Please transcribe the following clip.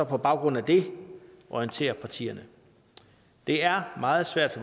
på baggrund af det orienterer partierne det er meget svært